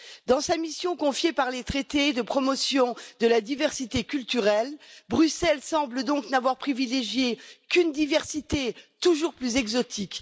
Dans sa mission confiée par les traités de promotion de la diversité culturelle, Bruxelles semble donc n'avoir privilégié qu'une diversité toujours plus exotique.